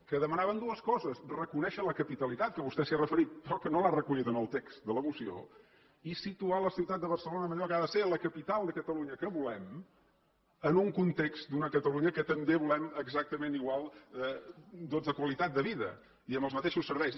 que demanaven dues coses reconèixer la capitalitat que vostè s’hi ha referit però que no l’ha recollit en el text de la moció i situar la ciutat de barcelona en allò que ha de ser la capital de catalunya que volem en un context d’una catalunya que també volem exactament igual de qualitat de vida i amb els mateixos serveis